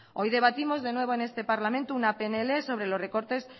hoy debatimos de nuevo en este parlamento una pnl sobre los recortes